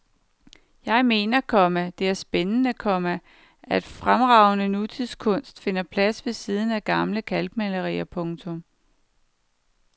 Jeg mener, komma det er spændende, komma at fremragende nutidskunst finder plads ved siden af gamle kalkmalerier. punktum